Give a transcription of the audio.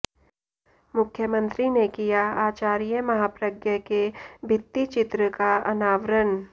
मुख्यमंत्री ने किया आचार्य महाप्रज्ञ के भित्ति चित्र का अनावरण